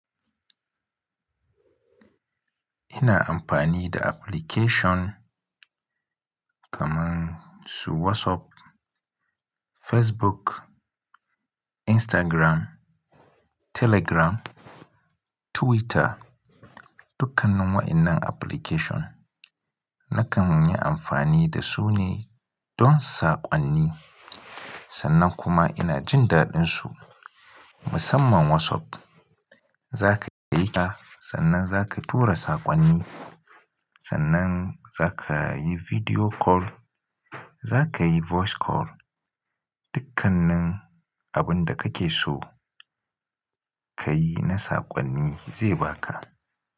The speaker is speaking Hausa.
Ina amfani da application kaman su WhatsApp, Facebook, Instagram, Telegram, Twitter. Dukkanin wa'innan application nakan yi amfani da su ne don saƙonni. Sannan kuma ina jin daɗin su musamman WhatsApp. Zaka iya aika sannan zaka tura saƙonni, sannan zaka yi video call, zaka yi voice call. Dukkanin abun da kake so ka yi na saƙonni zai baka.